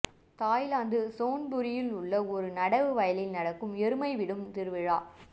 Thailand சோன்புரியில் உள்ள ஒரு நடவு வயலில் நடக்கும் எருமை விடும் திருவிழா